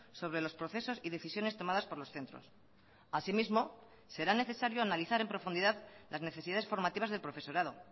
sobre los procesos y decisiones tomadas por los centros así mismo será necesario analizar en profundidad las necesidades formativas del profesorado